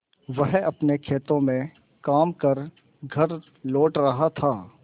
वह अपने खेतों में काम कर घर लौट रहा था